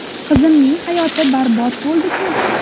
Qizimning hayoti barbod bo‘ldi-ku.